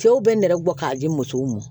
Cɛw bɛ nɛgɛ bɔ k'a di musow ma